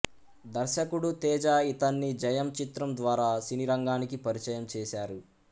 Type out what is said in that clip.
దర్శకుడు తేజ ఇతన్ని జయం చిత్రం ద్వారా సినీరంగానికి పరిచయం చేసారు